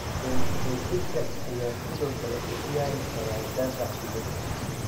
24-jirka ayaa sidoo kale u ciyaari kara daafac bidix.